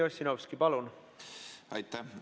Aitäh!